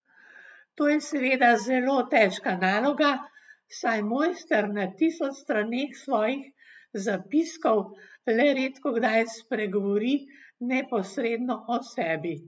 To je seveda zelo težka naloga, saj mojster na tisoč straneh svojih zapiskov le redkokdaj spregovori neposredno o sebi.